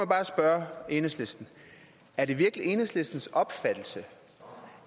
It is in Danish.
bare spørge enhedslisten er det virkelig enhedslistens opfattelse